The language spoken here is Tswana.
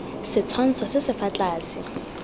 setshwantsho se se fa tlase